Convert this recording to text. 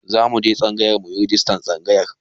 Zamu je tsangayar muyi rajistar tsangayar.